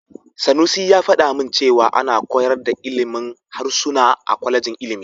Sanusi ya faɗa min cewa ana koyar da ilimin harsuna a kwalejin ilimi.